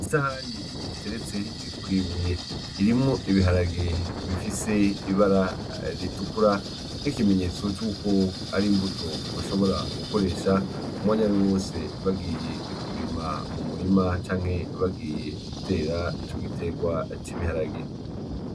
Isahani iteretse kwibuye, irimwo Ibiharage bitukura n'ikimenyetso c'uko ari imbuto bashobora gukoresha umwanya wariwo wose bagiye kurima umurima canke bagiye gutera ico giterwa c'igiharage.